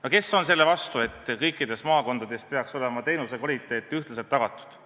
No kes on selle vastu, et kõikides maakondades peaks olema teenuste kvaliteet ühtlaselt tagatud?